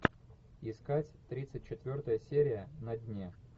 искать тридцать четвертая серия на дне